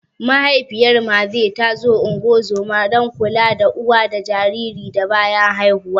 Mahaifiyar Mathew ta zo ungozoma (don kula da uwa da jariri da bayan haihuwa)